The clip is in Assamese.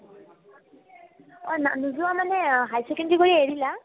অ, না ~ নোযোৱা মানে high secondary পঢ়ি এৰিলা ?